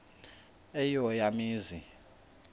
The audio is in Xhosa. eyo eya mizi